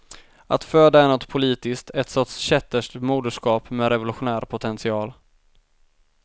Att föda är något politiskt, ett sorts kätterskt moderskap med revolutionär potential.